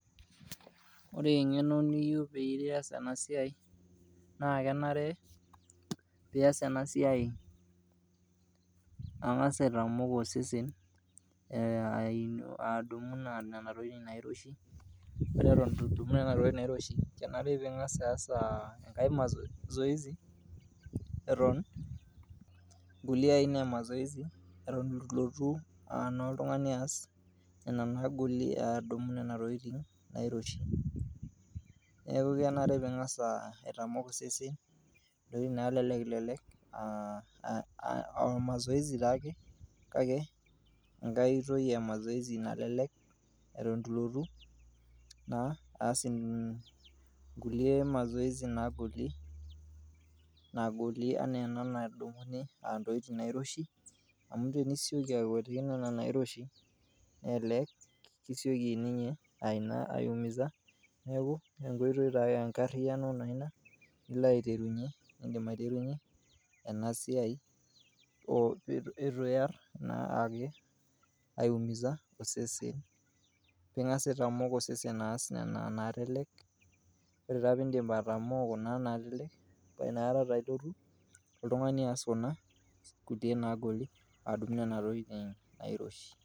Ore eng'eno niyei peyie iyas ena siaai naa kenare piyas ena siaai angas aitamok osesen adumu nena tokitin nairoshi, ore eton eitu idumu nena tokitin nairoshi kenare piing'as aas engae mazoezi eton nkuile aina e mazoezi eton ilotu naa ltungani aas nena naagolie adumu naa nena tokitin nairoshi, neaku kenare pingaas aitamok sesen ntokitin naalelek o amazoezi taake kake enkae toki emazoezi nalelek eton ilotu naa aas nkule mazoezi nagolie enaa ana nadumuni ntokitin nairoshi, amu tenisioki aiweng'ie nena niroshi naa elelek kisioki ninye aiumisa, naaku enkoitoi taa enkariano naa inia nilo aiterunye niindim aiterunye ena siai etu iarr' naa aumisa osesen, ingasu te mokosi aas nena naalelek, ore taa piindip atomoo naa inakata ta interu ltungani aas kuna kutii naagoli adumu nena tokitin nairoshi.